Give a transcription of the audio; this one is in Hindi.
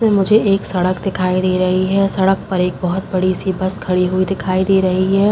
इसमें मुझे एक सड़क दिखाई दे रही है। सड़क पर एक बहोत बड़ी सी बस खड़ी हुई दिखाई दे रही है।